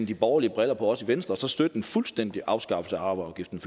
de borgerlige briller på også i venstre og så støtter en fuldstændig afskaffelse af arveafgiften